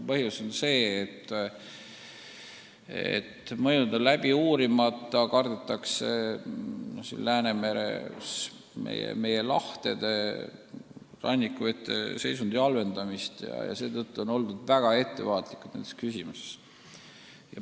Põhjus on see, et mõjud on läbi uurimata – kardetakse meie lahtede rannikuvete seisundi halvenemist ja seetõttu on nendes küsimustes väga ettevaatlikud oldud.